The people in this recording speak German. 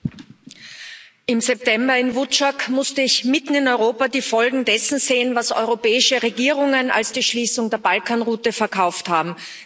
Herr Präsident! Im September in Vučjak musste ich mitten in Europa die Folgen dessen sehen, was europäische Regierungen als die Schließung der Balkanroute verkauft haben.